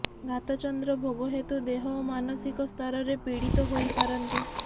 ଘାତଚନ୍ଦ୍ର ଭୋଗ ହେତୁ ଦେହ ଓ ମାନସିକ ସ୍ତରରେ ପୀଡ଼ିତ ହୋଇପାରନ୍ତି